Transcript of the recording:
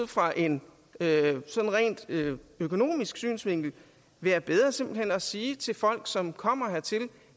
fra en ren økonomisk synsvinkel være bedre simpelt hen at sige til folk som kommer hertil